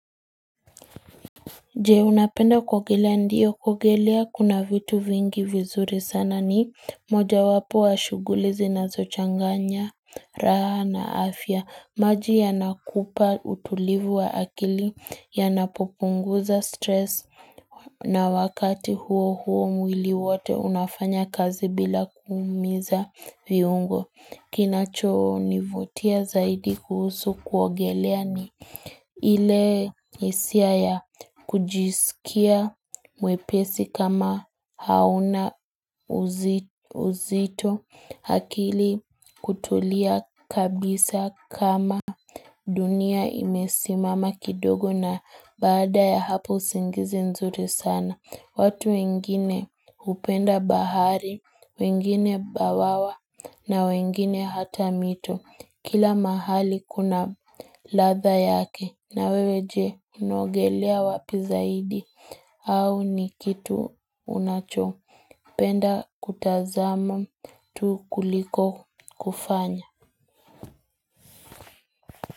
Je unapenda kuogelea ndiyo kogelea kuna vitu vingi vizuri sana ni moja wapo wa shuguli hizi nazochanganya raha na afya maji yanakupa utulivu wa akili ya napopunguza stress na wakati huo huo mwili wote unafanya kazi bila kuumiza viungo kinacho nivutia zaidi kuhusu kuogelea ni ile hisia ya kujisikia mwepesi kama hauna uzito akili kutulia kabisa kama dunia imesimama kidogo na baada ya hapo usingizi nzuri sana. Watu wengine hupenda bahari, wengine bawawa na wengine hata mito. Kila mahali kuna ladha yake na wewe je unaogelea wapi zaidi. Au ni kitu unacho. Upenda kutazama tu kuliko kufanya.